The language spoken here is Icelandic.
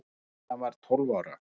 Stína var tólf ára.